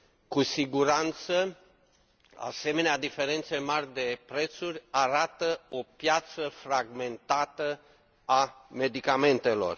Cu siguranță, asemenea diferențe mari de prețuri arată o piață fragmentată a medicamentelor.